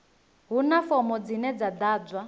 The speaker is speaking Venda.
huna fomo dzine dza ḓadzwa